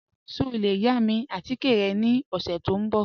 Ṣẹ o le yà mi atikẹ̀ rẹ ni ọṣẹ̀ tó nbọ̀?